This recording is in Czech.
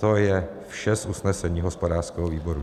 To je vše z usnesení hospodářského výboru.